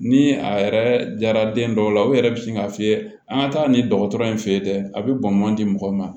Ni a yɛrɛ jara den dɔw la u yɛrɛ bɛ sin k'a f'i ye an ka taa nin dɔgɔtɔrɔ in fe yen dɛ a be bɔn di mɔgɔ ma